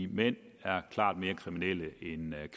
mænd er klart mere kriminelle end